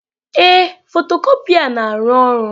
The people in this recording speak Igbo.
Ee, fotocopier na-arụ ọrụ.